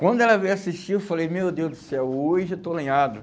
Quando ela veio assistir, eu falei, meu Deus do céu, hoje eu estou lenhado.